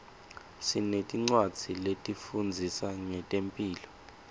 sinetincwadzi letifundzisa ngetemphilo